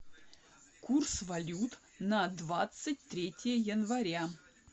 курс валют на двадцать третье января